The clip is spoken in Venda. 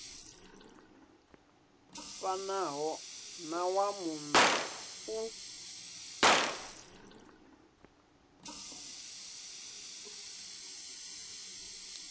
fanaho na wa muno u